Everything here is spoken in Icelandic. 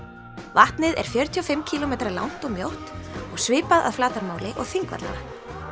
vatnið er fjörutíu og fimm kílómetra langt og mjótt og svipað að flatarmáli og Þingvallavatn